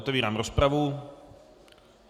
Otevírám rozpravu.